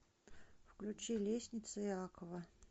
включи лестницы иакова